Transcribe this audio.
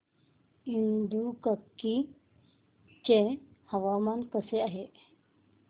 इडुक्की चे हवामान कसे आहे